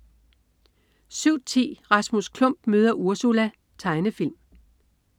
07.10 Rasmus Klump møder Ursula. Tegnefilm